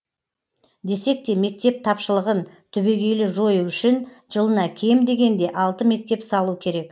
десек те мектеп тапшылығын түбегейлі жою үшін жылына кем дегенде алты мектеп салу керек